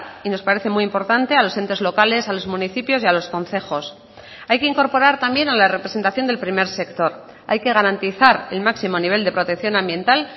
y nos parece muy importante a los entes locales a los municipios y a los concejos hay que incorporar también a la representación del primer sector hay que garantizar el máximo nivel de protección ambiental